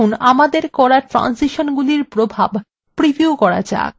এখন আমাদের করা transition গুলির প্রভাব preview করা যাক